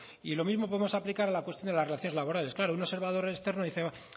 y lo mismo podemos aplicar a la cuestión de las relaciones laborales claro un observador externo dice